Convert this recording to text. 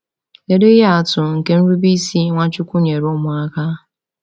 Kedu ihe atụ nke nrube isi Nwachukwu nyere ụmụaka?